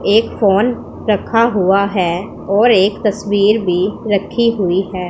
एक फोन रखा हुआ है और एक तस्वीर भी रखी हुई है।